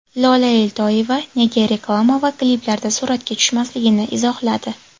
Lola Eltoyeva nega reklama va kliplarda suratga tushmasligini izohladi.